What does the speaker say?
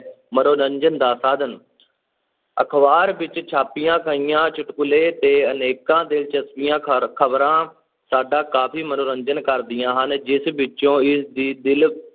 ਮਨੋਰੰਜਨ ਦਾ ਸਾਧਨ ਅਖ਼ਬਾਰ ਵਿੱਚ ਛਾਪੀਆਂ ਗਈਆਂ ਚੁਟਕਲੇ ਤੇ ਅਨੇਕਾਂ ਦਿਲਚਸਪੀਆਂ ਖਰ~ ਖ਼ਬਰਾਂ ਸਾਡਾ ਕਾਫ਼ੀ ਮਨੋਰੰਜਨ ਕਰਦੀਆਂ ਹਨ, ਜਿਸ ਵਿਚੋਂ ਇਸਦੀ ਦਿਲ